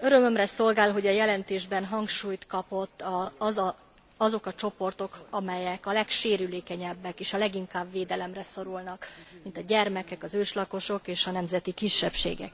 Örömömre szolgál, hogy a jelentésben hangsúlyt kaptak azok a csoportok, amelyek a legsérülékenyebbek és a leginkább védelemre szorulnak, mint a gyermekek, az őslakosok és a nemzeti kisebbségek.